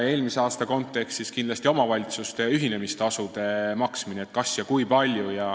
Eelmise aasta kontekstis võib tuua näiteks omavalitsuste ühinemistasude maksmise, et kas ja kui palju.